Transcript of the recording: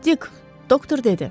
Dikk, doktor dedi.